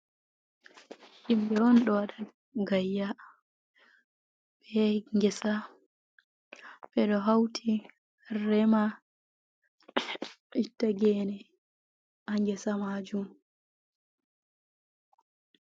Himɓe on ɗo waɗa gayya, ɓe yahi Ngesa ɓe ɗo hawti rema itta geene haa Ngesa maajum.